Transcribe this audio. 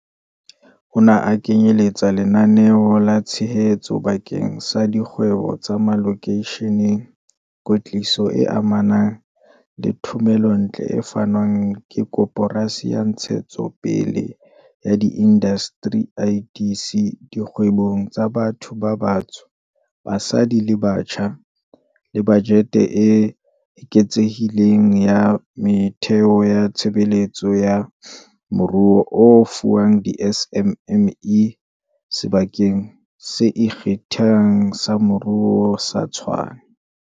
Ona a kenyeletsa lenaneo la tshehetso bakeng sa dikgwebo tsa malokeisheneng, kwetliso e amanang le thomelontle e fanwang ke Koporasi ya Ntshetsopele ya Diindasteri, IDC, dikgwebong tsa batho ba batsho, basadi le batjha, le bajete e eketsehileng ya metheo ya tshebetso ya moruo e fuwang di-SMME Sebakeng se Ikgethang sa Moruo sa Tshwane.